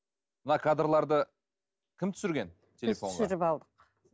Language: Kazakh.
мына кадрларды кім түсірген телефонға түсіріп алдық